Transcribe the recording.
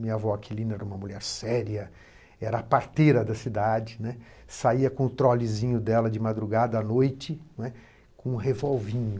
Minha avó Aquilina era uma mulher séria, era a parteira da cidade, né, saía com o trolezinho dela de madrugada à noite, né, com um revolvinho.